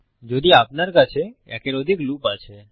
যদি আপনার কাছে একের অধিক লুপ আছে